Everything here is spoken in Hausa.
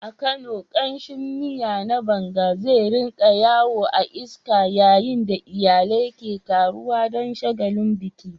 A Kano, kamshin miya na banga zai rika yawo a iska yayin da iyalai ke taruwa don shagalin biki.